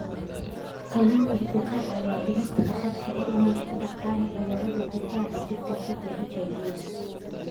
Kalluunku wuxuu caawiyaa dhimista khatarta ah inay ku dhacaan cudurrada difaaca jirka sida HIV/AIDS.